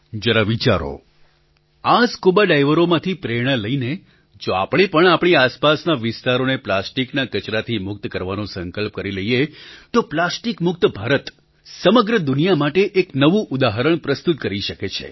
જરા વિચારો આ સ્કુબાડાઇવરોમાંથી પ્રેરણા લઈને જો આપણે પણ આપણી આસપાસના વિસ્તારોને પ્લાસ્ટિકના કચરાથી મુક્ત કરવાનો સંકલ્પ કરી લઈએ તો પ્લાસ્ટિક મુક્ત ભારત સમગ્ર દુનિયા માટે એક નવું ઉદાહરણ પ્રસ્તુત કરી શકે છે